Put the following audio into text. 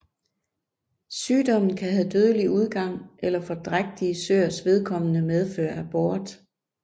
Sygdommen kan have dødelig udgang eller for drægtige søers vedkommende medføre abort